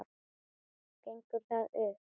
Gengur það upp?